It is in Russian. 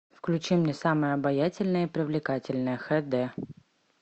включи мне самая обаятельная и привлекательная хэ дэ